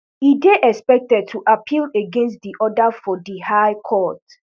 e dey expected to appeal against di order for di high court